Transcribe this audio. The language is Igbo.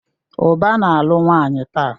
Uba na-alụ nwanyi taa.